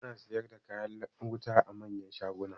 Ana siyar da kayan wuta a manyan shaguna.